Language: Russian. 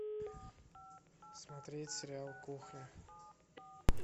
смотреть сериал кухня